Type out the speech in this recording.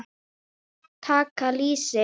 Taka lýsi!